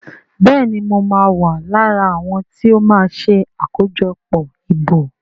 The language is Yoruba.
Béèni mọ ma wá lára àwọn tíó ma ṣe akojọpọ ìbò.